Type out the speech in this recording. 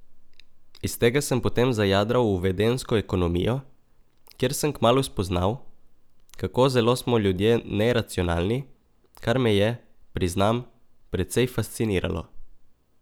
Iz tega sem potem zajadral v vedenjsko ekonomijo, kjer sem kmalu spoznal, kako zelo smo ljudje neracionalni, kar me je, priznam, precej fasciniralo.